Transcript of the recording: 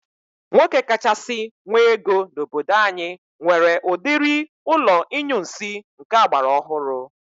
Nwoke kachasị nwe ego n'obodo anyị nwere udiri ụlọ inyunsi nke agbara ọhụrụ